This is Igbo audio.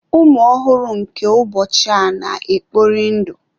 Ụmụ ọhụrụ nke ụbọchị a na-ekpori ndụ.